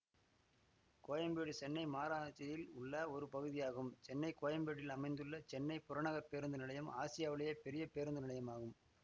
கோயம்பேடு சென்னை மாகராநாட்சியில் உள்ள ஒரு பகுதியாகும் சென்னை கோயம்பேட்டில் அமைந்துள்ள சென்னை புறநகர் பேருந்து நிலையம் ஆசியாவிலேயே பெரிய பேருந்து நிலையமாகும்